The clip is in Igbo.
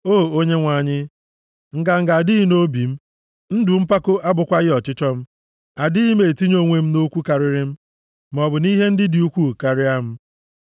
O Onyenwe anyị, nganga adịghị nʼobi m, ndụ mpako abụkwaghị ọchịchọ m; adịghị m etinye onwe m nʼokwu karịrị m maọbụ nʼihe ndị dị ukwuu karịa m.